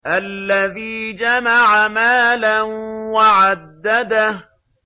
الَّذِي جَمَعَ مَالًا وَعَدَّدَهُ